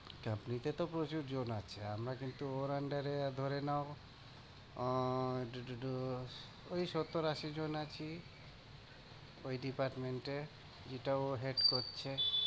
চাকরিতে তো প্রচুরজন আছে, আমরা কিন্তু ওর under এ ধরে নাও আহ ওই সত্তর-আশি জন আছি ওই department এ, যেটা ও head করছে।